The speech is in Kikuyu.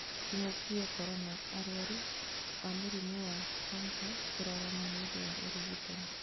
Kĩng'uki gĩa korona, araru a mũrĩmi wa kansa kũrarama nĩũndũ wa ũrigitani